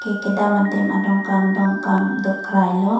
kedam adim adongkam dongkam dokrai lo.